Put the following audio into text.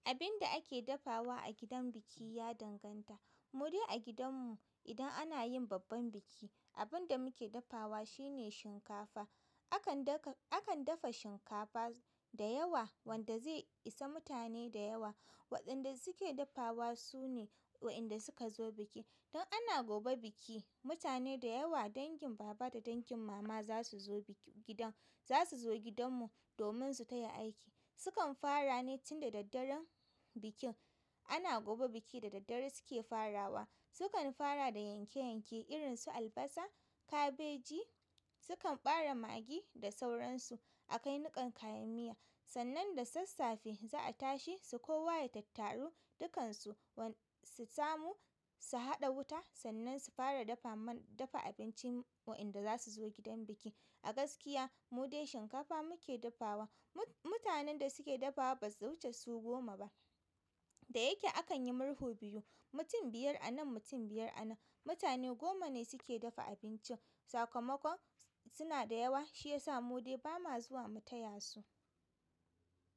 Abin da ake ɗafawa a gidan biƙi ya danganta. Mudai a gidanmu idan ana yin babban biki, abin da muke dafawa shine shinkafa. Akan dafa shinkafa da yawa wanda zai isa mutane da yawa. Waɗanda suke dafawa su ne waenda suka zo biki. Don ana gobe biki, mutane da yawa dangin baba da dangin mama zasu zo biki gidan za su zo gidanmu domin su taya aiki. Sukan farane tun da daddare bikin ana gobe biki da daddare suke farawa. Sukan fara da yanke-yanke irin su albasa, kabeji, sukan ɓare magi da sauransu a kai niƙan kayan miya. Sannan da sassafe za a tashe su kowa ya tattaro dukansu su samu su haɗa wuta sannan su fara dafa abinci waenda za su zo gidan biki. A gaskiya mu dai shinkafa muke dafawa. Mutanen da suke dafawa basu wuche su goma ba da yake akan yi murhu biyu, mutum biyar a nan, mutum biyar a nan. Mutane goma ne suke dafa abincin. Sakamakon sunada yawa shiyasa mudai bama zuwa mu tayasu.